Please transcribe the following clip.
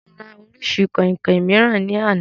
Mo rà orísìí kọ̀ìnkọ̀ìn mìíràn ní àná